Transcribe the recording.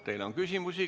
Teile on küsimusi.